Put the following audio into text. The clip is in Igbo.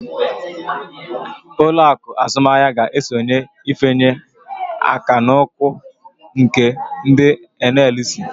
Uloaku azumahia ga-esonye ifanye akan'ụkwụ nke ndi NLC